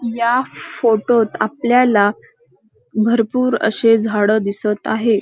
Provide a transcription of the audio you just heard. या फोटोत आपल्याला भरपूर अशे झाड दिसत आहे.